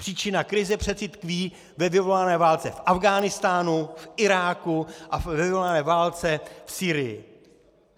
Příčina krize přece tkví ve vyvolané válce v Afghánistánu, v Iráku a ve vyvolané válce v Sýrii.